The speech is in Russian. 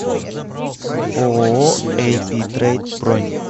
ооо эй пи трейд бронь